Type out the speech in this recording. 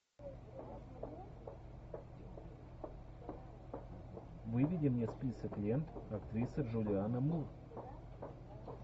выведи мне список лент актриса джулиана мур